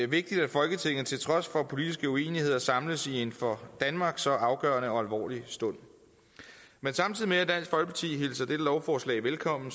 vigtigt at folketinget til trods for politiske uenigheder samles i en for danmark så afgørende og alvorlig stund samtidig med at dansk folkeparti hilser dette lovforslag velkommen